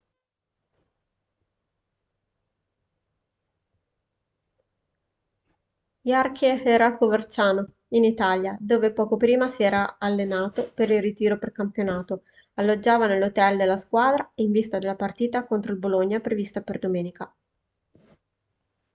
jarque era a coverciano in italia dove poco prima si era allenato per il ritiro precampionato alloggiava nell'hotel della squadra in vista della partita contro il bologna prevista per domenica